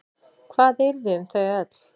Hvað yrði um þau öll?